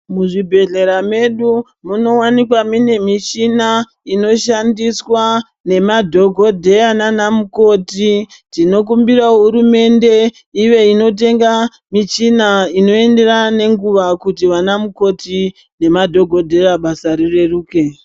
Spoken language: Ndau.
Muzvibhedhlera medu munowanikwa mune mishina inoshandiswa nemadhokodheya nanamukoti. Tinokumbira hurumende ive inotenga michina inoyenderana nenguva kuti vanamukoti nemadhokodheya basa rireruke.